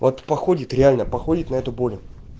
вот походит реально походит на эту боли